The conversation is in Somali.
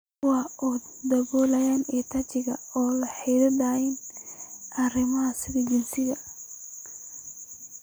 Kuwaas oo daboolaya EdTech ee la xidhiidha arrimaha sida jinsiga,